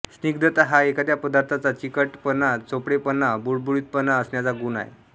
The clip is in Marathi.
स्निग्धता हा एखाद्या पदार्थाचा चिकटपणाचोपडेपणा बुळबुळबुळीतपणा असण्याचा गुण आहे